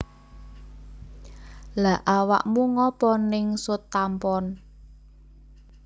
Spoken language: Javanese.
Lha awakmu ngopo ning Southampton?